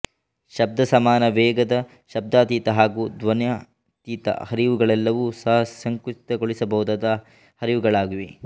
ಶಬ್ದಸಮಾನ ವೇಗದ ಶಬ್ದಾತೀತ ಹಾಗೂ ಧ್ವನ್ಯಾತೀತ ಹರಿವುಗಳೆಲ್ಲವೂ ಸಹ ಸಂಕುಚಿತಗೊಳಿಸಬಹುದಾದ ಹರಿವುಗಳಾಗಿವೆ